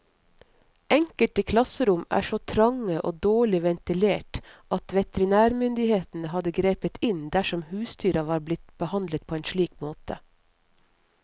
Enkelte klasserom er så trange og dårlig ventilert at veterinærmyndighetene hadde grepet inn dersom husdyr var blitt behandlet på en slik måte.